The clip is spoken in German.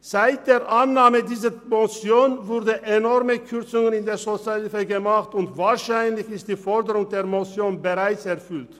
Seit der Annahme dieser Motion wurden enorme Kürzungen in der Sozialhilfe vorgenommen, und wahrscheinlich ist die Forderung der Motion bereits erfüllt.